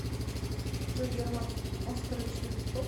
джой герман оскорович любит спорт